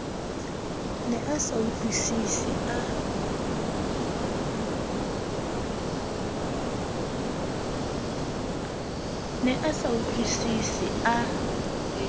ne a sa utlwisise a